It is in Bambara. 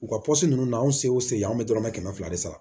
U ka ninnu na anw sew an bɛ dɔrɔmɛ kɛmɛ fila de sara